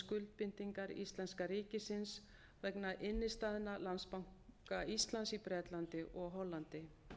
skuldbindingar íslenska ríkisins vegna innstæðna landsbanka íslands í bretlandi og hollandi